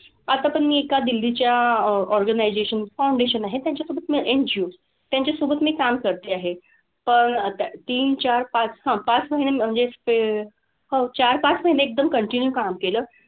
आता पण मी एका दिल्लीच्या organization, foundation आहे त्यांच्या कडून म्हणजे NGO त्यांच्यासोबत मी काम करते आहे. तर तीन, चार, पाच हां पाच महिने म्हणजे ते, हो चार-पाच महिने एकदम continue काम केलं.